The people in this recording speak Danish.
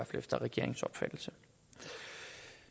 efter regeringens opfattelse